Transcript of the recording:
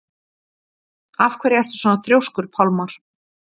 Af hverju ertu svona þrjóskur, Pálmar?